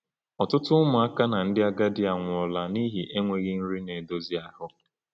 Ọtụtụ ụmụaka na ndị agadi anwụọla n’ihi enweghị nri na-edozi ahụ.